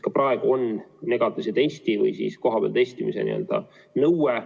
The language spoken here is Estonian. Ka praegu on negatiivse testi või siis kohapeal testimise nõue.